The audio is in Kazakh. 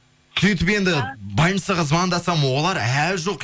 сөйтіп енді больницаға звондасам олар әлі жоқ